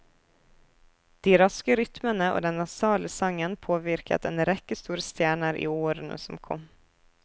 De raske rytmene og den nasale sangen påvirket en rekke store stjerner i årene som kom.